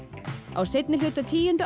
á seinni hluta tíundu